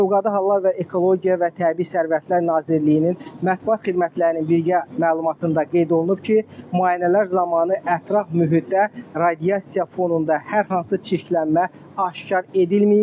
Fövqəladə Hallar və Ekologiya və Təbii Sərvətlər Nazirliyinin mətbuat xidmətlərinin birgə məlumatında qeyd olunub ki, müayinələr zamanı ətraf mühitdə radiasiya fonunda hər hansı çirklənmə aşkar edilməyib.